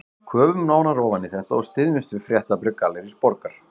Köfum nánar ofan í þetta og styðjumst við fréttabréf Gallerís Borgar